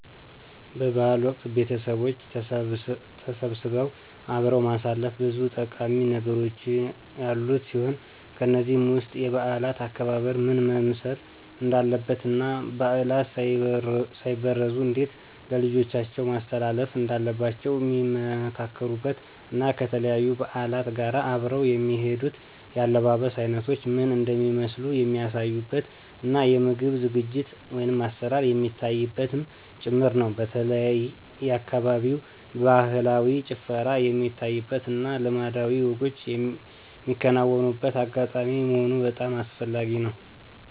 በ በዓል ወቅት ቤተቦች ተሰባስበው አብሮ ማሳለፍ ብዙ ጠቃሚ ነገሮች ያሉት ሲሆን ከነዚህም ውስጥ የበዓላት አከባበር ምን መምሰል እንዳለበት እና ባዕላት ሳይበረዙ እንዴት ለልጆቻቸው ማስተላለፍ እንዳለባቸዉ ሚመካከሩበት እና ከተለያዩ በዓላት ጋር አብረው የሚሄዱት የአለባበስ አይነቶች ምን እንደሚመስሉ የሚያሳዩበት እና የምግብ ዝግጅት(አሰራር) የሚታይበትም ጭምር ነው። በተለይ የአካባቢው ባህላዊ ጭፈራ የሚታይበት እና ልማዳዊ ወጎች ሚከናወንበት አጋጣሚ መሆኑ በጣም አስፈላጊ ነው።